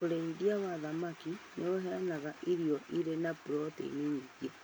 Ũrĩithia wa thamaki nĩ ũheanaga irio irĩ na proteini nyingĩ.